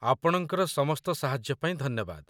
ଆପଣଙ୍କର ସମସ୍ତ ସାହାଯ୍ୟ ପାଇଁ ଧନ୍ୟବାଦ।